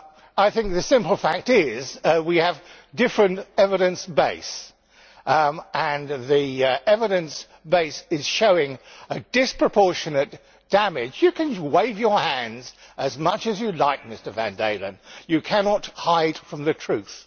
I think the simple fact is that we have a different evidence base, and the evidence base is showing disproportionate damage. You can wave your hands as much as you like, Mr van Dalen, but you cannot hide from the truth.